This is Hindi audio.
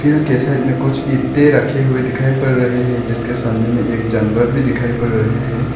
के साइड मे कुछ इत्ते रखे हुए दिखाई पड़ रहे हैं जिसके सामने में एक जानवर भी दिखाई पड़ रहे हैं।